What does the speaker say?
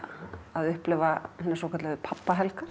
að upplifa hinar svokölluðu